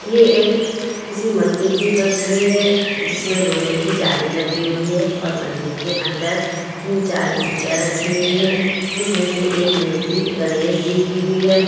ये एक किसी मंदिर की तस्वीर है जिसमें लोहे की जाली लगी हुई है और मंदिर के अंदर तीन-चार मुर्तियाँ रखी हुई है जिसमें से एक मूर्ति गणेश जी की भी है।